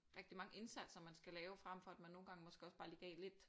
Rigtig mange indsatser man skal lave frem for at man nogle gange måske også bare lige gav lidt